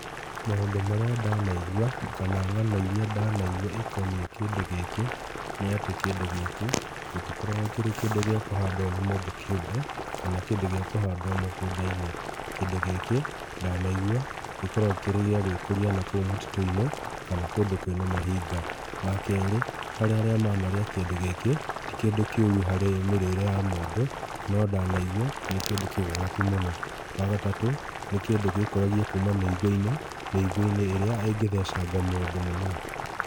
Maũndũ marĩa ndanaigua kana ng'ano iria ndanaigua ikoniĩ kĩndũ gĩkĩ, nĩatĩ kĩndũ gĩkĩ gĩtikoragwo kĩrĩ kĩndũ gĩa kũhandwo nĩ mũndũ kĩũmbe, kana kĩndũ gĩa kũhandwo mũgũnda-inĩ. Kĩndũ gĩkĩ ndanaigua gĩkoragwo kĩrĩ gĩa gwĩkũria nakũu mũtitũ-inĩ kana kũndũ kwĩna mahinga. Wakerĩ, harĩ arĩa manarĩa kĩndũ gĩkĩ, ti kĩndũ kĩũru harĩ mĩrĩre ya mũndũ, no ndanaigua nĩ kĩndũ kĩgagatu mũno. Wa gatatũ, nĩ kĩndũ gĩĩkũragia kuuma mĩigua-inĩ, mĩigua-inĩ ĩrĩa ĩngĩthecanga mũndũ mũno.